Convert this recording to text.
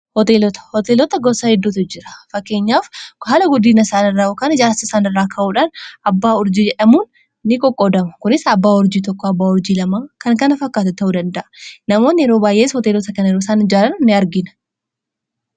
hooteelota hooteelota gossaa hedduotu jira fakkeenyaaf kohaala guddiina isaanirra okaan ijaarsisaanirraa ka'uudhaan abbaa urjii amuun ni qoqqoodama kunis abbaa urjii tokko abbaa urjii lamaa kan kana fakkaate ta'uu danda'a namoonni yeroo baayyees hooteelota kan eru isaan ijaalan ini argina